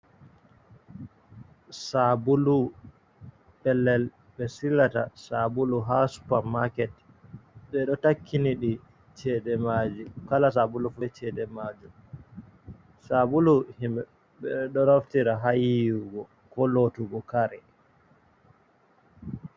Sabulu, pellel ɓe silata sabulu ha supa maket, beɗo takkiniɗi cheɗe majum, kala sabulu fu be cheɗe majom, sabulu ɓedo naftira ha yiyugo ko lotugo kare.